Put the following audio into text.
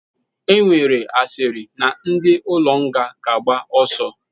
Enwere asịrị na ndi ụlọ nga ga agba oso.